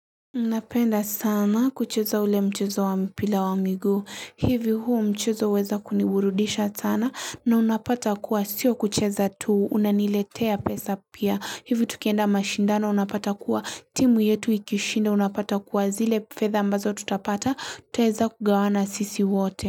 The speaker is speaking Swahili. Unapenda sana kucheza ule mchezo wa mpira wa miguu. Hivi huo mchezo huweza kuniburudisha sana na unapata kuwa sio kuchuza tu. Unaniletea pesa pia. Hivi tukienda mashindano unapata kuwa timu yetu ikishinda unapata kuwa zile fetha ambazo tutapata. Tutaweza kugawana sisi wote.